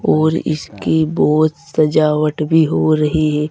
और इसकी बहोत सजावट भी हो रही हे।